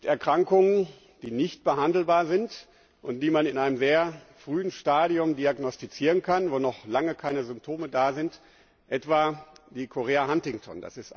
Es gibt Erkrankungen, die nicht behandelbar sind, und die man in einem sehr frühen Stadium diagnostizieren kann, wo noch lange keine Symptome da sind, etwa die Chorea Huntington.